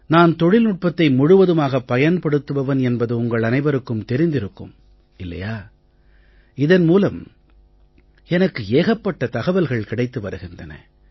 நான் தொழில்நுட்பத்தை முழுவதுமாகப் பயன்படுத்துபவன் என்பது உங்கள் அனைவருக்கும் தெரிந்திருக்கும் இல்லையா இதன் மூலம் எனக்கு ஏகப்பட்ட தகவல்கள் கிடைத்து வருகின்றன